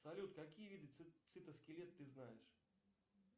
салют какие виды цитоскелет ты знаешь